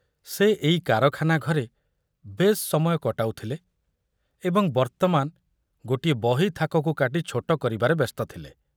ସେ ଏଇ କାରଖାନା ଘରେ ବେଶ୍ ସମୟ କଟାଉଥିଲେ ଏବଂ ବର୍ତ୍ତମାନ ଗୋଟିଏ ବହି ଥାକକୁ କାଟି ଛୋଟ କରିବାରେ ବ୍ୟସ୍ତ ଥିଲେ।